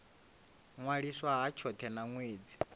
ṅwaliswa ha tshothe na ṅwedzi